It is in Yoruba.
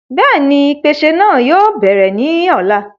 bẹ́ẹ̀ni, ìpèsè náà yóò bẹ̀rẹ̀ ní ọ̀la